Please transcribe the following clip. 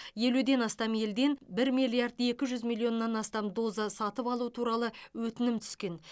елуден астам елден бір миллиард екі жүз миллион астам доза сатып алу туралы өтінім түскен